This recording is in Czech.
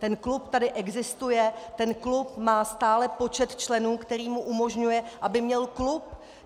Ten klub tady existuje, ten klub má stále počet členů, který mu umožňuje, aby měl klub.